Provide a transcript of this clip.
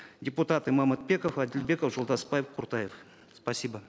депутаты мамытбеков адильбеков жолдасбаев куртаев спасибо